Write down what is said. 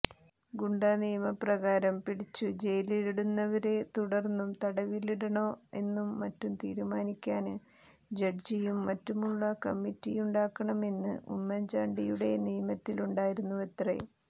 ഗുണ്ടാനിയമപ്രകാരം പിടിച്ചു ജയിലിലിടുന്നവരെ തുടര്ന്നും തടവിലിടണോ എന്നും മറ്റും തീരുമാനിക്കാന് ജഡ്ജിയും മറ്റുമുള്ള കമ്മിറ്റിയുണ്ടാക്കണമെന്ന് ഉമ്മന്ചാണ്ടിയുടെ നിയമത്തിലുണ്ടായിരുന്നുവത്രെ